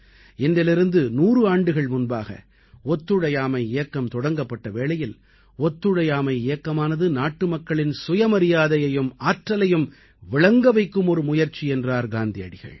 இன்றிலிருந்து 100 ஆண்டுகள் முன்பாக ஒத்துழையாமை இயக்கம் தொடங்கப்பட்ட வேளையில் ஒத்துழையாமை இயக்கமானது நாட்டுமக்களின் சுயமரியாதையையும் ஆற்றலையும் விளங்க வைக்கும் ஒரு முயற்சி என்றார் காந்தியடிகள்